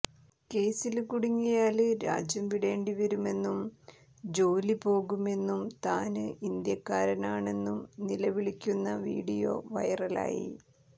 കേസില് കുടുങ്ങിയാല് രാജ്യം വിടേണ്ടിവരുമെന്നും ജോലി പോകുമെന്നും താന് ഇന്ത്യക്കാരനാണെന്നും നിലവിളിക്കുന്ന വീഡിയോ െവെറലായി